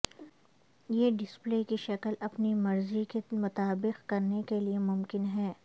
یہ ڈسپلے کی شکل اپنی مرضی کے مطابق کرنے کے لئے ممکن ہے